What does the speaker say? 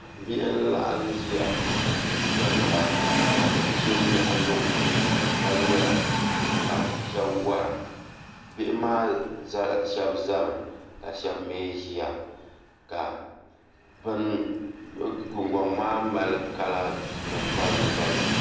Bihi n laɣam ʒiya n diɛmda ka bia so nyaɣa luŋ ka ŋmɛra ka shab wora bihi maa shab ʒɛmi ka shab mii ʒiya ka gungoŋ maa mali kala nim balibu balibu